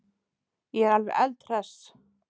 Ég er alveg eldhress.